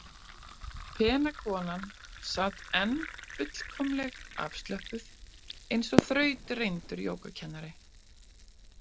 Pena konan sat enn fullkomleg afslöppuð, eins og þrautreyndur jógakennari.